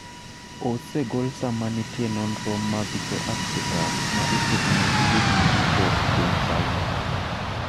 osegol sama nitie nonro mag Joafrika ma itimonegi gik maricho e piny China,